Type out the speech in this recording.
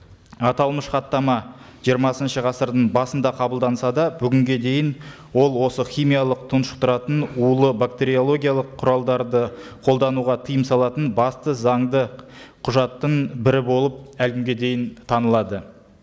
аталмыш хаттама жиырмасыншы ғасырдың басында қабылданса да бүгінге дейін ол осы химиялық тұншықтыратын улы бактериологиялық құралдарды қолдануға тыйым салатын басты заңды құжаттың бірі болып әлі күнге дейін танылады